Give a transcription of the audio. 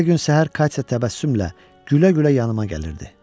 Hər gün səhər Katya təbəssümlə gülə-gülə yanıma gəlirdi.